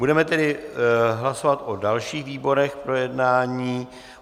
Budeme tedy hlasovat o dalších výborech k projednání.